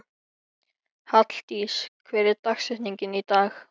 Halldís, hver er dagsetningin í dag?